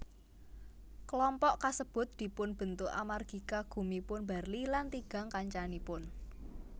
Kelompok kasebut dipunbentuk amargi kagumipun Barli lan tigang kancanipun